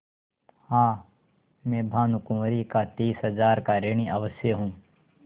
हाँ मैं भानुकुँवरि का तीस हजार का ऋणी अवश्य हूँ